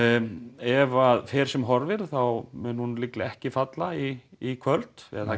ef að fer sem horfir þá mun hún líklega ekki falla í kvöld eða það